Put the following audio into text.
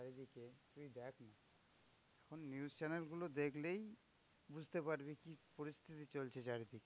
এখন news channel গুলো দেখলেই, বুঝতে পারবি কি পরিস্থিতি চলছে চারিদিকে?